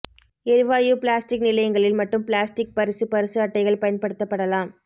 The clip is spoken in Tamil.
எரிவாயு பிளாஸ்டிக் நிலையங்களில் மட்டும் பிளாஸ்டிக் பரிசு பரிசு அட்டைகள் பயன்படுத்தப்படலாம்